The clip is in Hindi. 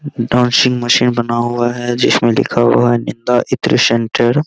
डांसिंग मशीन बना हुआ है जिसमे लिखा हुआ है निंदा इत्र सेण्टर |